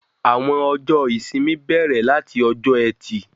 Àwọn ọjọ́ ìsinmi bẹrẹ lati ọjọ́ Ẹtì.